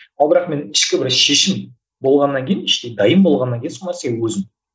ал бірақ мен ішкі бір шешім болғаннан кейін іштей дайын болғаннан кейін сол нәрсеге өзім